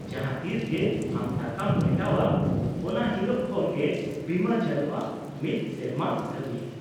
-ᱡᱟᱦᱟᱸ ᱛᱤᱥ ᱜᱮ ᱟᱢ ᱴᱟᱠᱟᱢ ᱢᱮᱴᱟᱣᱼᱟ ᱚᱱᱟ ᱦᱤᱞᱳᱜ ᱠᱷᱚᱱ ᱜᱮ ᱵᱤᱢᱟᱹ ᱪᱟᱹᱞᱩᱜᱼᱟ ᱢᱤᱫ ᱥᱮᱨᱢᱟ ᱫᱷᱟᱹᱵᱤᱡ ᱾